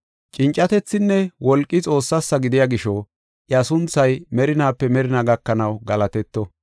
“Cincatethinne wolqi Xoossasa gidiya gisho, iya sunthay merinaape merinaa gakanaw galatetto.